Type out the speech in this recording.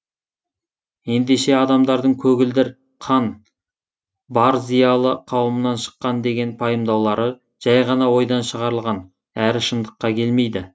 ендеше адамдардың көгілдір қан бар зиялы қауымнан шыққан деген пайымдаулары жай ғана ойдан шығарылған әрі шындыққа келмейді